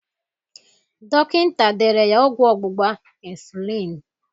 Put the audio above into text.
Dọkịnta dere ya ọgwụ ọgbụgba insulin